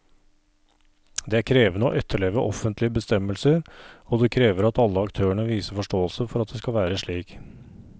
Det er krevende å etterleve offentlige bestemmelser, og det krever at alle aktørene viser forståelse for at det skal være slik.